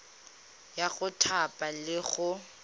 ya go thapa le go